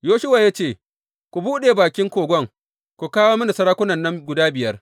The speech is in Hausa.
Yoshuwa ya ce, Ku buɗe bakin kogon ku kawo mini sarakunan nan guda biyar.